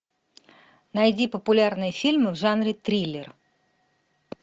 найди популярные фильмы в жанре триллер